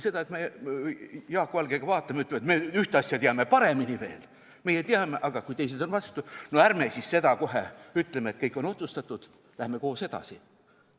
Kui me Jaak Valgega vaatame ja ütleme, et me ühte asja teame veel paremini, aga kui teised on vastu, ärme siis kohe ütleme, et kõik on otsustatud, vaid läheme koos edasi.